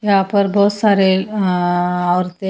यहां पर बहुत सारे और अं औरतें--